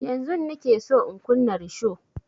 Yanzun nike son in kunna risho